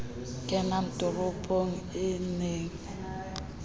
kenang toropong e ne e